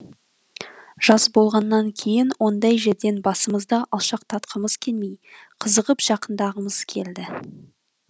жас болғаннан кейін ондай жерден басымызды алшақтатқымыз келмей қызығып жақындағымыз келді